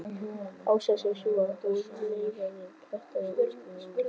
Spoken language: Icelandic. Ástæðan sé sú, að hún leiðrétti prentaða útskrift úr tölvunni.